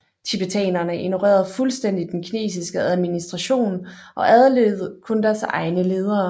Tibetanerne ignorerede fuldstændig den kinesiske administration og adlød kun deres egne ledere